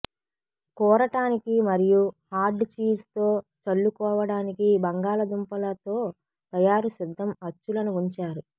కూరటానికి మరియు hard cheese తో చల్లుకోవటానికి బంగాళాదుంపలతో తయారు సిద్ధం అచ్చులను ఉంచారు